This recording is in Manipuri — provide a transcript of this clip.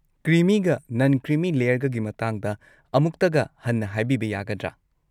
ꯀ꯭ꯔꯤꯃꯤꯒ ꯅꯟ-ꯀ꯭ꯔꯤꯃꯤ ꯂꯦꯌꯔꯒꯒꯤ ꯃꯇꯥꯡꯗ ꯑꯃꯨꯛꯇꯒ ꯍꯟꯅ ꯍꯥꯏꯕꯤꯕ ꯌꯥꯒꯗ꯭ꯔꯥ?